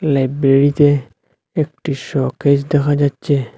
লাইব্রেরীতে একটি শোকেস দেখা যাচ্চে।